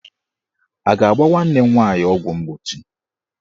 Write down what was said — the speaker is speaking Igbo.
A ga-agba nwanne m nwaanyị ọgwụ mgbochi?